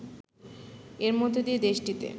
এর মধ্য দিয়ে দেশটিতে